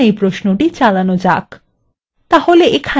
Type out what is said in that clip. এখন এই প্রশ্নটি চালানো যাক